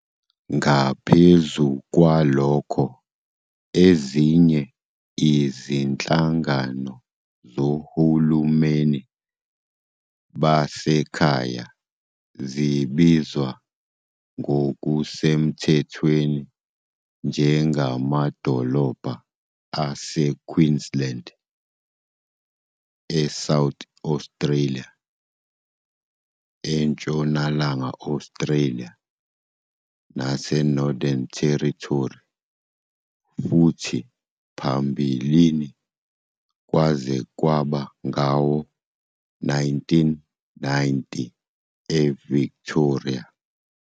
Ngaphezu kwalokho, ezinye izinhlangano zohulumeni basekhaya zibizwa ngokusemthethweni njengamadolobha aseQueensland, eSouth Australia, eNtshonalanga Australia naseNorthern Territory, futhi phambilini, kwaze kwaba ngawo-1990, eVictoria.